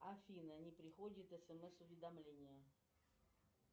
афина не приходит смс уведомление